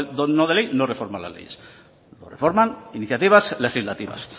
no de ley no reforman las leyes lo reforman iniciativas legislativas